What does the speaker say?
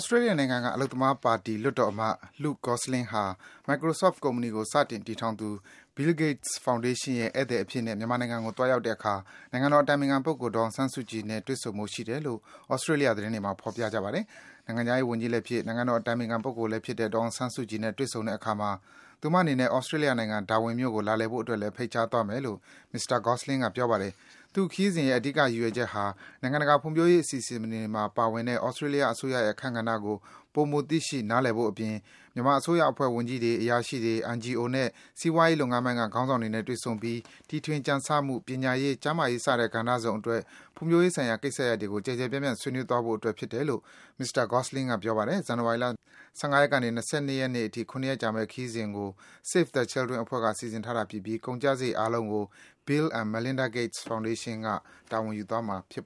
စတြေးလျနိုင်ငံက အလုပ်သမားပါတီ လွှတ်တော်အမတ် Luke Gosling ဟာ Microsoft ကုမ္ပဏီကို စတင်တည်ထောင်သူ Bill Gates Foundation ရဲ့ ဧည့်သည်အဖြစ်နဲ့ မြန်မာနိုင်ငံကို သွားရောက်တဲ့အခါ နိုင်ငံတော်အတိုင်ပင်ခံပုဂ္ဂိုလ် ဒေါ်အောင်ဆန်းစုကြည်နဲ့ တွေ့ဆုံဖို့ ရှိတယ်လို့ သြစတေးလျ သတင်းတွေမှာ ဖော်ပြကြပါတယ်။ နိုင်ငံခြားရေးဝန်ကြီးလည်းဖြစ်၊ နိုင်ငံတော်အတိုင်ပင်ခံပုဂ္ဂိုလည်းဖြစ်တဲ့ ဒေါ်အောင်ဆန်းစုကြည်နဲ့ တွေ့ဆုံတဲ့အခါမှာတော့ သူမအနေနဲ့သြစတြေးလျနိုင်ငံ Darwin မြို့ကို လာလည်ဖို့အတွက်လည်း ဖိတ်ကြားသွားမယ်လို့ မစ္စတာ Gosling က ပြောပါတယ်။ သူ့ခရီးစဉ်ရဲ့ အဓိက ရည်ရွယ်ချက်ဟာ နိုင်ငံတကာ ဖွံ့ဖြိုးရေးအစီအစဉ်တွေမှာ ပါဝင်တဲ့ သြစတြေးလျ အစိုးရရဲ့ အခန်းကဏ္ဍကို ပိုမို သိရှိ နားလည်ဖို့အပြင်၊ မြန်မာအစိုးရအဖွဲ့ဝင် ဝန်ကြီးတွေ၊ အရာရှိတွေ၊ NGO နဲ့ စီးပွားရေးလုပ်ငန်းပိုင်းက ခေါင်းဆောင်တွေနဲ့ တွေ့ဆုံပြီး တီထွင်ကြံဆမှု၊ ပညာရေး၊ ကျန်းမာရေး စတဲ့ကဏ္ဍစုံအတွက် ဖွံ့ဖြိုးရေးဆိုင်ရာ ကိစ္စရပ်တွေကို ကျယ်ကျယ်ပြန့်ပြန့် ဆွေးနွေးသွားဖို့အတွက် ဖြစ်တယ်လို့ မစ္စတာ Gosling က ပြောပါတယ်။ ဇန်နဝါရီလ ၁၅ ရက်နေ ၂၂ ရက်နေ့အထိ ၇ ရက်ကြာမယ် ဒီခရီးစဉ်ကို Save the Children အဖွဲ့က စီစဉ်တာဖြစ်ပြီး ကုန်ကျစားရိတ်အားလုံးကို Bill and Melinda Gates Foundation က တာဝန်ယူသွားမှာဖြစ်